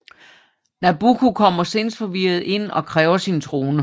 Nabucco kommer sindsforvirret ind og kræver sin trone